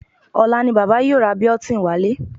Ọ̀la ni bàbá yóò ra Biotin wálé